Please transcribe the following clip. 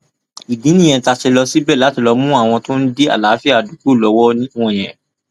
ìdí nìyẹn tá a ṣe lọ síbẹ láti mú àwọn tó ń dí àlàáfíà àdúgbò lọwọ wọnyẹn